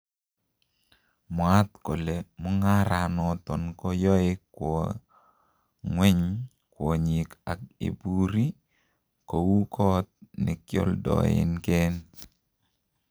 Mwaat kole mung'ara noton ko yoe kwo ng'weny kwonyik ak iburi kou kot nekoldoeken.